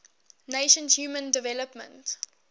nations human development